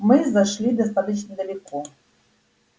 мы зашли достаточно далеко